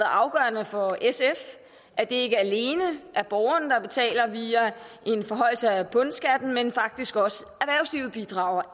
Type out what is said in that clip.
afgørende for sf at det ikke alene er borgeren der betaler via en forhøjelse af bundskatten men faktisk også bidrager